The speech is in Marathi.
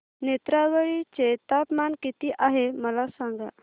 नेत्रावळी चे तापमान किती आहे मला सांगा